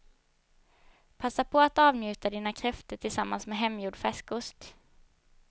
Passa på att avnjuta dina kräftor tillsammans med hemgjord färskost.